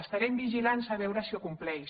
estarem vigilant a veure si ho compleix